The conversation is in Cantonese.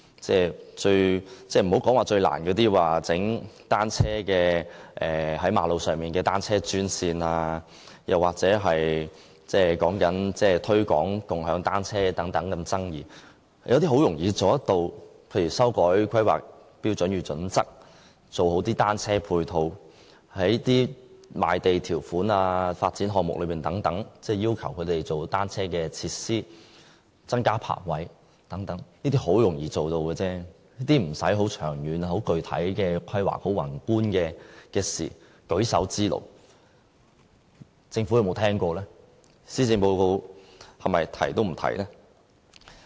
別說最難的在馬路設立單車專線，又或是推廣共享單車等這麼爭議的政策，有些事情其實是很容易做到的，例如修改《香港規劃標準與準則》、做好單車配套、在賣地條款和發展項目等要求做好單車設施、增加泊位等，這些很容易做到，無需長遠具體的規劃，亦不是很宏觀的事，只是舉手之勞。